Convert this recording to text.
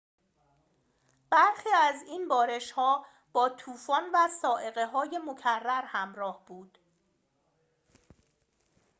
برخی از این بارش‌ها با طوفان و صاعقه‌های مکرر همراه بود